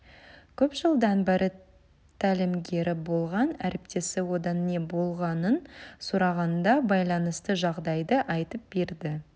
көп жылдан бері тәлімгері болған әріптесі одан не болғанын сұрағанда байланысты жағдайды айтып берді